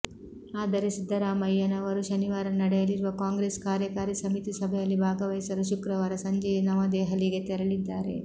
ಆದರೆ ಸಿದ್ದರಾಮಯ್ಯನವರು ಶನಿವಾರ ನಡೆಯಲಿರುವ ಕಾಂಗ್ರೆಸ್ ಕಾರ್ಯಕಾರಿ ಸಮಿತಿ ಸಭೆಯಲ್ಲಿ ಭಾಗವಹಿಸಲು ಶುಕ್ರವಾರ ಸಂಜೆಯೇ ನವದೆಹಲಿಗೆ ತೆರಳಿದ್ದಾರೆ